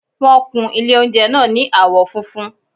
Wọ́n kun ilé oúnjẹ náà ní àwọ́ funfun